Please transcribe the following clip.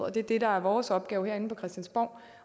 det er det der er vores opgave herinde på christiansborg